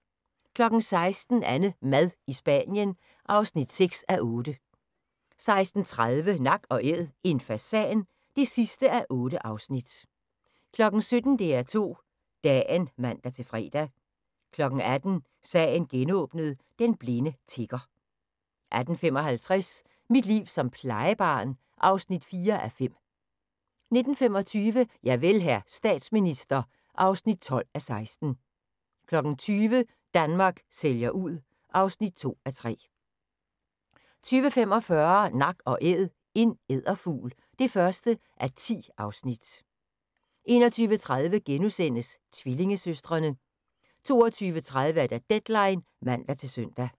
16:00: AnneMad i Spanien (6:8) 16:30: Nak & Æd – en fasan (8:8) 17:00: DR2 Dagen (man-fre) 18:00: Sagen genåbnet: Den blinde tigger 18:55: Mit liv som plejebarn (4:5) 19:25: Javel, hr. statsminister (12:16) 20:00: Danmark sælger ud (2:3) 20:45: Nak & Æd – en edderfugl (1:10) 21:30: Tvillingesøstrene * 22:30: Deadline (man-søn)